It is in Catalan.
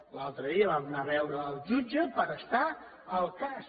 l’altre dia vam anar a veure el jutge per estar al cas